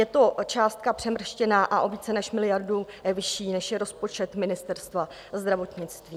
Je to částka přemrštěná a o více než miliardu vyšší, než je rozpočet Ministerstva zdravotnictví.